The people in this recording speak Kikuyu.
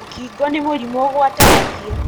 Mũkingo nĩ mũrimũ ũgwatanagio